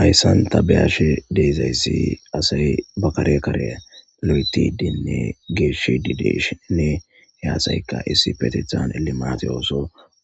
ayssanta beyash deezayssi asay bakare kare lo7eti diinne geeshi dideshene hyaasayka issi patethan elimati ooso